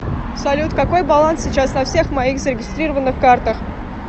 салют какой баланс сейчас на всех моих зарегистрированных картах